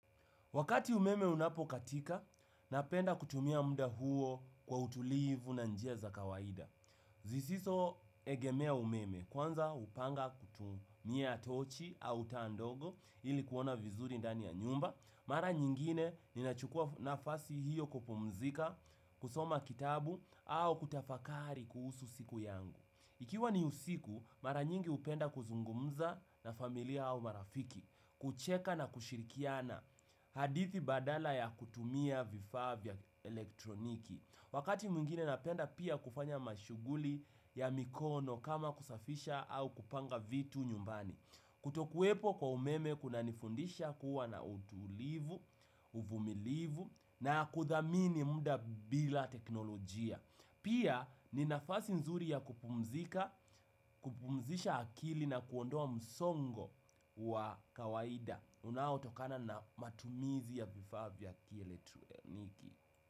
Wakati umeme unapo katika, napenda kutumia muda huo kwa utulivu na njia za kawaida. Zisizo egemea umeme, kwanza hupanga kutumia tochi au taa ndogo ili kuona vizuri dani ya nyumba. Mara nyingine, ninachukua nafasi hiyo kupumzika, kusoma kitabu, au kutafakari kuhusu siku yangu. Ikiwa ni usiku, mara nyingi hupenda kuzungumza na familia au marafiki, kucheka na kushirikiana. Hadithi badala ya kutumia vifaa vya elektroniki. Wakati mwingine napenda pia kufanya mashughuli ya mikono kama kusafisha au kupanga vitu nyumbani. Kutokuwepo kwa umeme kuna nifundisha kuwa na utulivu, uvumilivu na kuthamini muda bila teknolojia. Pia ni nafasi nzuri ya kupumzika, kupumzisha akili na kuondoa msongo wa kawaida unao tokana na matumizi ya vifaa vya kielektroniki.